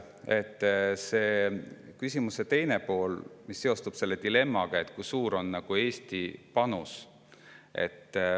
Ja see küsimuse teine pool, mis seostub dilemmaga, kui suur on Eesti panus.